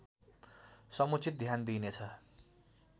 समुचित ध्यान दिइनेछ